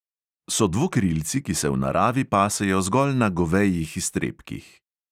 So dvokrilci, ki se v naravi pasejo zgolj na govejih iztrebkih.